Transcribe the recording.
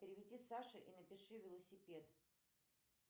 переведи саше и напиши велосипед